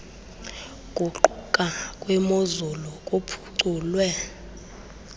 guquka kwemozulu kuphuculwe